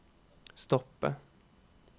stoppe